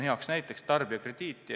Hea näide on tarbijakrediit.